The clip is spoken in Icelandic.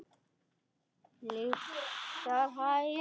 Lyktar af heyi.